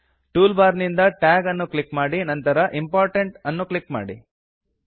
tool bar ನಿಂದ tag ಅನ್ನು click ಮಾಡಿ ನಂತರ ಇಂಪೋರ್ಟೆಂಟ್ ಅನ್ನು ಕ್ಲಿಕ್ ಮಾಡಿ